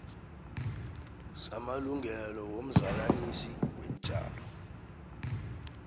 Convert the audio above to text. samalungelo womzalanisi weentjalo